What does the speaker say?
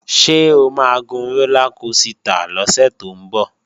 Ṣé o máa gun rólá kosità lọ́sẹ̀ tó ń bọ̀?